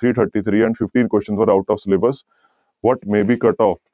three thirty three and fifteen question sir out of syllabus, what